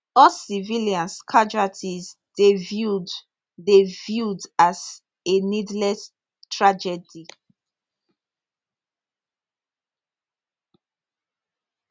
all civilians casualties dey viewed dey viewed as a needless tragedy